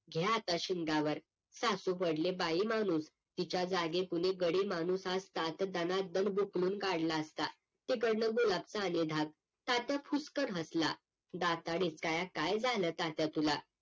घ्या आता शिंगावर सासू पडली बाईमाणूस तिच्या जागी कोणी गडीमाणूस असता तर दना दन बुकलून काढला असता तिकडनं बोळातन आली तात्या फुसकन हसला दाताड इचकाय काय झालं तात्या तुला?